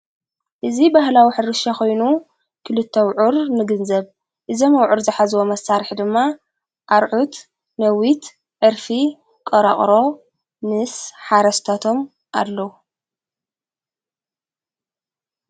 እዙ በህላዊ ሕርሻ ኾይኑ ክልቶውዑር ንግንዘብ እዘም ኣውዑር ዝኃዝቦ መሣርሕ ድማ ኣርዑት ነዊት ዕርፊ ቀራቕሮ ምስ ሓረስተቶም ኣለዉ።